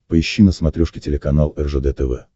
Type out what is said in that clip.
поищи на смотрешке телеканал ржд тв